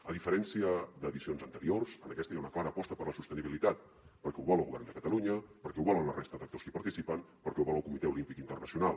a diferència d’edicions anteriors en aquesta hi ha una clara aposta per la sostenibilitat perquè ho vol el govern de catalunya perquè ho volen la resta d’actors que hi participen perquè ho vol el comitè olímpic internacional